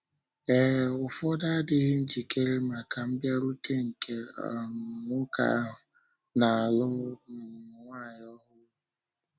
Ee, ụfọdụ adịghị njikere maka mbịarute nke um Nwoke ahụ na-alụ um Nwanyi Ọhụrụ.